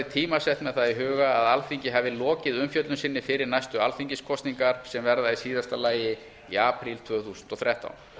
tímasett með það í huga að alþingi hafi lokið umfjöllun sinni fyrir næstu alþingiskosningar sem verða í síðasta lagi í apríl tvö þúsund og þrettán